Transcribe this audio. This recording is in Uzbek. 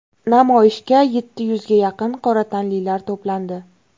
Namoyishga yetti yuzga yaqin qora tanlilar to‘plandi.